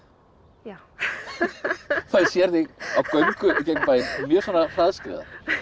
já maður sér þig á göngu gegnum bæinn mjög svona hraðskreiða